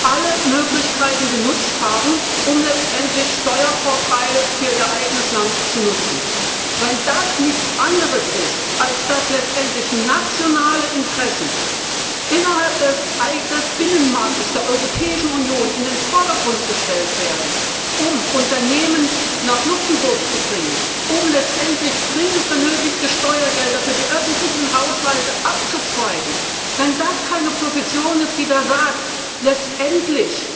alle Möglichkeiten genutzt haben, um letztendlich Steuervorteile für Ihr eigenes Land zu nutzen. Wenn das nichts anderes ist, als dass letztendlich nationale Interessen innerhalb des Binnenmarktes der Europäischen Union in den Vordergrund gestellt werden, um Unternehmen nach Luxemburg zu bringen, um letztendlich dringend benötigte Steuergelder für die öffentlichen Haushalte abzuzweigen, wenn das keine Position ist, die da sagt, letztendlich